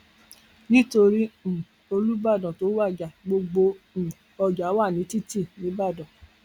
nítorí um olùbàdàn tó wájà gbogbo um ọjà wa ní títì nìbàdàn